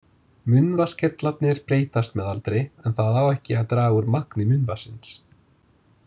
Munnvatnskirtlarnir breytast með aldri en það á ekki að draga úr magni munnvatnsins.